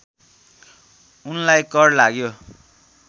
उनलाई कर लाग्यो